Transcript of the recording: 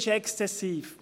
Es ist exzessiv!